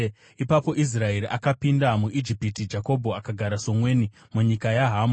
Ipapo Israeri akapinda muIjipiti; Jakobho akagara somweni munyika yaHamu.